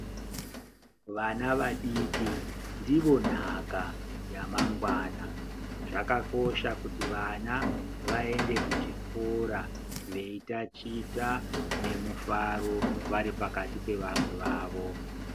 Vana vadiki ndiyo nhaka yamangwana. Zvakakosha kuti vana vaende kuchikora veitachita nemufaro, vari pakati pevamwe vavo.